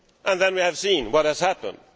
Then we have seen what has happened.